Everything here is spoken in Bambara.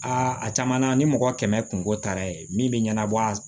Aa a caman na ni mɔgɔ kɛmɛ kungo taara ye min bɛ ɲɛnabɔ a